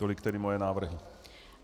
Tolik tedy moje návrhy.